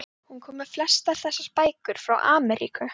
Hún kom með flestar þessar bækur frá Ameríku.